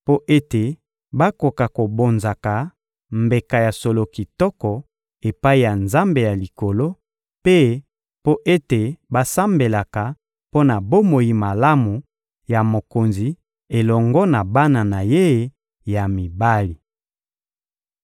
mpo ete bakoka kobonzaka mbeka ya solo kitoko epai ya Nzambe ya Likolo, mpe mpo ete basambelaka mpo na bomoi malamu ya mokonzi elongo na bana na ye ya mibali.